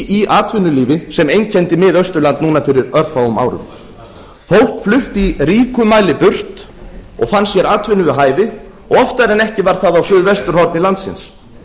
í atvinnulífi sem einkenndi miðausturland núna fyrir örfáum árum fólk flutti í ríkum mæli burt og fann sér atvinnu við hæfi oftar en ekki var það á suðvesturhorni landsins